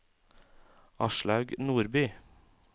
Aslaug Nordby